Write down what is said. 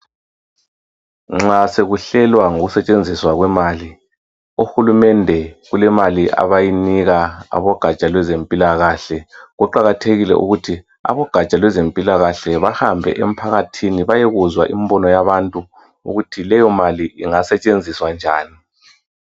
Nxa sekuhlelwa ngokusetshenziswa kwemali uhulumende kulemali abayinika abogaja lwezempilakahle Kuqakathekile ukuthi abogaja lwezempilakahle bahambe emphakathini bayekuzwa imbono yabantu ukuthi leyo mali ingasetshenziswa njani.